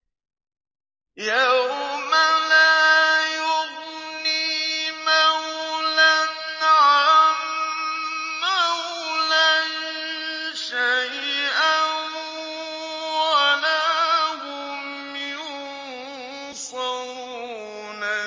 يَوْمَ لَا يُغْنِي مَوْلًى عَن مَّوْلًى شَيْئًا وَلَا هُمْ يُنصَرُونَ